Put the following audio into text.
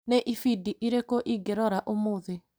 Nĩ ibindi irĩkũ ingĩrora ũmũthĩ ?